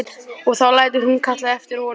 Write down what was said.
Og þá lætur hún kalla eftir honum.